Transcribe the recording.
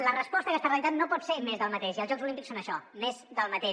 la resposta a aquesta realitat no pot ser més del mateix i els jocs olímpics són això més del mateix